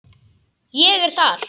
Ég er þar.